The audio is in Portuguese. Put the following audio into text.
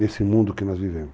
Nesse mundo que nós vivemos.